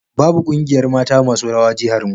Babu ƙungiyar mata masu rawa jiharmu